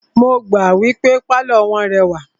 Mo gbà wípé pálọ̀ wọ́n rẹwà.